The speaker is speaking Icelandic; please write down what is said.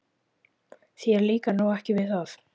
Þér líkar nú ekki við það?